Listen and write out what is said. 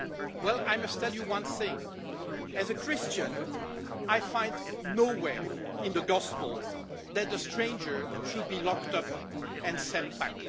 Well, I must tell you one thing as a Christian, I find nowhere in the Gospel that the stranger should be locked up and sent back.